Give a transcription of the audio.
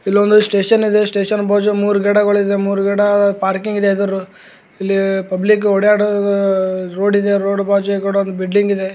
ಇಲ್ಲೊಂದು ಸ್ಟೇಷನ್ ಇದೆ ಸ್ಟೇಷನ್ ಬಾಜು ಮೂರ್ ಗಿಡಗಳಿದೆ ಮೂರ್ ಗಿಡ ಪಾರ್ಕಿಂಗ್ ಇದೆ ಎದ್ರು ಇಲ್ಲಿ ಪಬ್ಲಿಕ್ ಓಡಾಡೋ ಆಹ್ಹ್ ರೋಡ್ ಇದೆ ರೋಡ್ ಬಾಜು ಕೂಡಾ ಒಂದ್ ಬಿಲ್ಡಿಂಗ್ ಇದೆ.